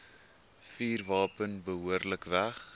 vuurwapen behoorlik weg